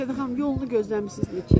Sevda xanım, yolunu gözləmisiz?